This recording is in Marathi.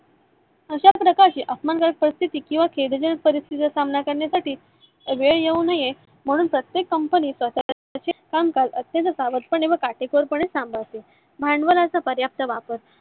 अशाच प्रकारच्या अपमानजनक परिस्थिती किवा केविलजन्य परिस्थिती चा सामना करण्या साठी वेळ येऊ नये म्हणून प्रत्येक company कामकाज अत्यंत सावधपणे व काटेकोरपणे पार पाडते. भांडवलाचा पर्याप्त वापर